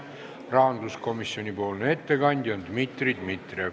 Rahanduskomisjoni nimel teeb ettekande Dmitri Dmitrijev.